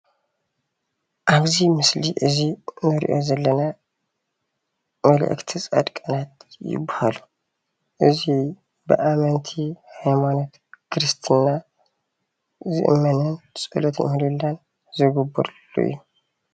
አብዚ ምስሊ እዚ እንሪኦ ዘለና መልኣክቲ ፃድቃናት ይበሃሉ፡፡ እዚ ብኣመንቲ ሃይማኖት ክርስትና ይእመኑን ፀሎተ ምህሌላ ዝግበረሉ እዩ፡፡